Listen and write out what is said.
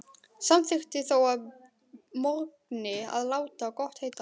Samþykkti þó að morgni að láta gott heita.